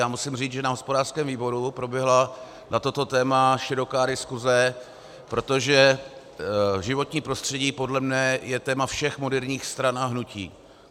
Já musím říct, že na hospodářském výboru proběhla na toto téma široká diskuse, protože životní prostředí podle mě je téma všech moderních stran a hnutí.